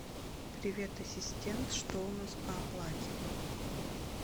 привет ассистент что у нас по оплате